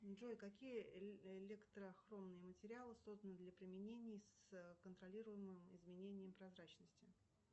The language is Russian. джой какие электрохромные материалы созданы для применения с контролируемым изменением прозрачности